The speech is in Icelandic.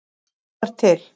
Þú ert til.